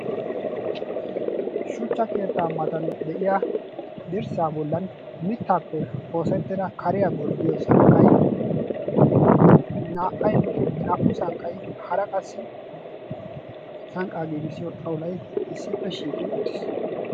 shuchcha keettaa matan de7iya dirssaa bollan mittaappe oosettida kariyaa gorddiyo sanqqay naa77ay naa77u sanqqay hara qassi sanqqaa giigissiyo xawulai issippe shiiqi uttiis.